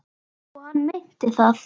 Og hann meinti það.